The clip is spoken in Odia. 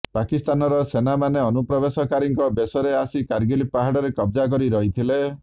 ପାକିସ୍ତାନର ସେନାମାନେ ଅନୁପ୍ରବେଶକାରୀଙ୍କ ବେଶରେ ଆସି କାର୍ଗିଲ୍ ପାହାଡ଼ରେ କବଜା କରି ରହିଥିଲେ